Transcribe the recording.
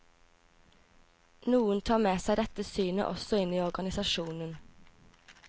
Noen tar med seg dette synet også inn i organisasjonen.